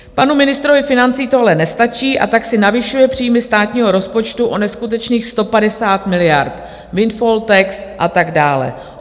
Panu ministrovi financí tohle nestačí, a tak si navyšuje příjmy státního rozpočtu o neskutečných 150 miliard, windfall tax a tak dále.